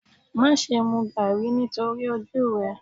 Má ṣe mu Garri nítorí ojú rẹ.